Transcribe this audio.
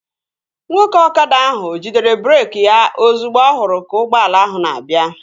Nwoke ọkada ahụ jidere breeki ya ozugbo ọ hụrụ ka ụgbọala ahụ na-abịa